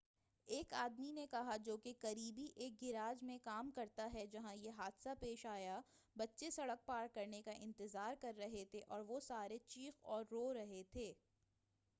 ایک آدمی نے کہا جو کہ قریبی ایک گیراج میں کام کرتا ہے جہاں یہ حادثہ پیش آیا بچے سڑک پار کرنے کا انتظار کر رہے تھے اور وہ سارے چیخ اور رو رہے تھے